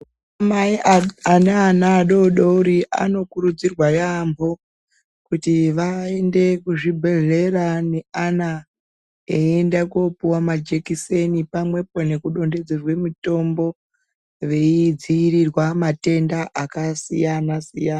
Anamai aneana adodori anokurudzirwa yaamho kuti vaende kuzvibhehleya neana eienda kopuwa majekiseni pamwepo nekudonhedzerwe mutombo veidziirirwa matenda akasiyanasiyana.